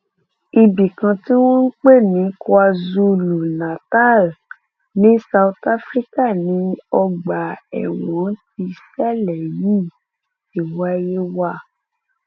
ibì kan tí wọn ń pè ní kwazulunatal ní south africa ni ọgbà ẹwọn tíṣẹlẹ yìí ti wáyé wá